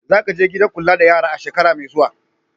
Za ka je gidan kula da yara a shekara mai zuwa!